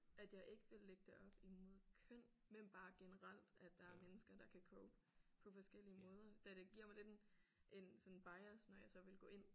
At jeg ikke ville lægge det op imod køn men bare generelt at der er mennesker der kan cope på forskellige måder da det giver mig lidt en en sådan bias når jeg så ville gå ind